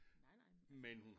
Nej nej men altså